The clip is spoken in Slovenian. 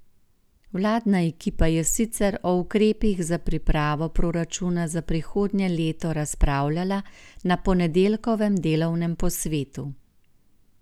Vladna ekipa je sicer o ukrepih za pripravo proračuna za prihodnje leto razpravljala na ponedeljkovem delovnem posvetu.